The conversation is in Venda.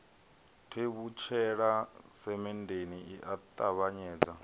tevhutshela semenndeni i a ṱavhanyedza